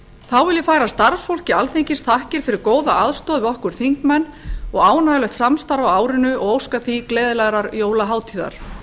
þá vil ég færa starfsfólki alþingis þakkir fyrir góða aðstoð við okkur þingmenn og ánægjulegt samstarf á árinu og óska því gleðilegrar jólahátíðar